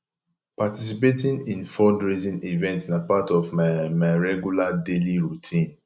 participating in fundraising events na part of my my regular daily routine